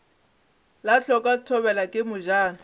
la hloka thobela ke mojano